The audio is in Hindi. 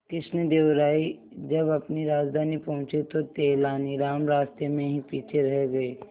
कृष्णदेव राय जब अपनी राजधानी पहुंचे तो तेलानीराम रास्ते में ही पीछे रह गए